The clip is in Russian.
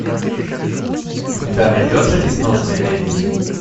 у тебя найдется несносная леди